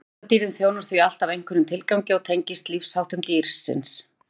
litadýrðin þjónar því alltaf einhverjum tilgangi og tengist lífsháttum dýrsins